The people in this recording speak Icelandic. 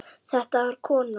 Þetta var kona.